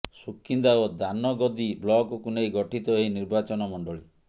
ସୁକିନ୍ଦା ଓ ଦାନଗଦୀ ବ୍ଲକକୁ ନେଇ ଗଠିତ ଏହି ନିର୍ବାଚନମଣ୍ଡଳୀ